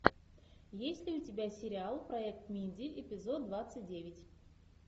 есть ли у тебя сериал проект минди эпизод двадцать девять